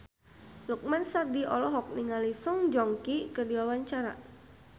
Lukman Sardi olohok ningali Song Joong Ki keur diwawancara